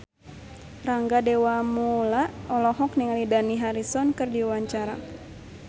Rangga Dewamoela olohok ningali Dani Harrison keur diwawancara